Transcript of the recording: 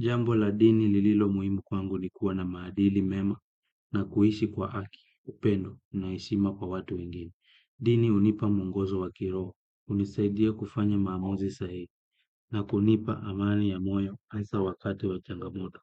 Jambo la dini lililo muhimu kwangu ni kuwa na maadili mema na kuishi kwa haki, upendo na heshima kwa watu wengine. Dini hunipa mwongozo wa kiroho, hunisaidia kufanya maamuzi sahihi na kunipa amani ya moyo hasa wakati wa changamoto.